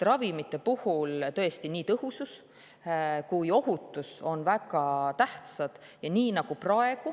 Ravimite puhul on tõesti nii tõhusus kui ka ohutus väga tähtsad.